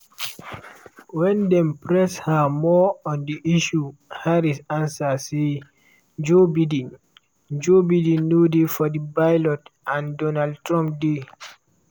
wen dem press her more on di issue harris answer say: "joe biden "joe biden no dey for di ballot and donald trump dey."